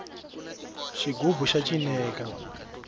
xigubu xa cineka